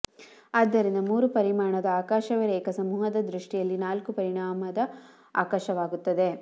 ಆದ್ದರಿಂದ ಮೂರು ಪರಿಮಾಣದ ಆಕಾಶವೇ ರೇಖಾಸಮೂಹದ ದೃಷ್ಟಿಯಲ್ಲಿ ನಾಲ್ಕು ಪರಿಮಾಣದ ಆಕಾಶವಾಗುತ್ತದೆ